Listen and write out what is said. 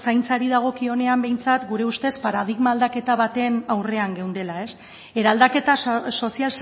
zaintzari dagokionean behintzat gure ustez paradigma aldaketa baten aurrean geundela eraldaketa sozial